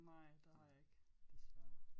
Nej det har jeg ikke desværre